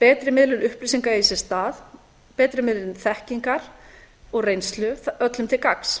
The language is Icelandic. betri miðlun upplýsinga eigi sér stað betri miðlun þekkingar og reynslu öllum til gagns